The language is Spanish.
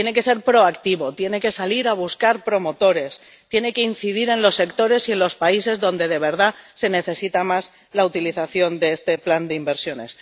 Tiene que ser proactivo, tiene que salir a buscar promotores y tiene que incidir en los sectores y en los países donde de verdad se necesita más la utilización de este plan de inversiones.